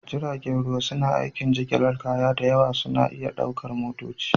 Jiragen ruwa suna aikin jigilar kaya da yawa suna iya ɗaukar motoci